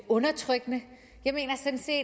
undertrykkende jeg mener